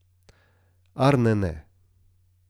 Arne ne.